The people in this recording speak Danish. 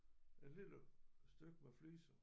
Et lille stykke med fliser